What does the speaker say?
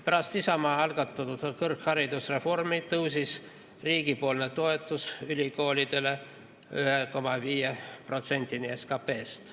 Pärast Isamaa algatatud kõrgharidusreformi tõusis riigipoolne toetus ülikoolidele 1,5%-ni SKT-st.